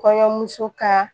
Kɔɲɔmuso ka